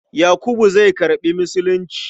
Yakubu zai karɓi Musulunci.